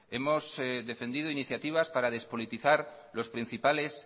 hemos defendido iniciativas para despolitizar los principales